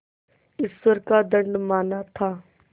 ईश्वर का दंड माना था